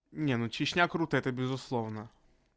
не ну чечня круто это безусловно